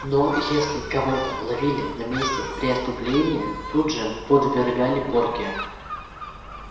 но если кого-то ловили на месте преступления тут же подвергали порке